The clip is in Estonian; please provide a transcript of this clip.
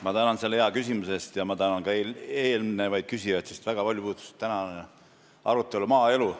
Ma tänan selle hea küsimuse eest ja tänan ka eelmisi küsijaid, sest tänane arutelu puudutas suurel määral maaelu.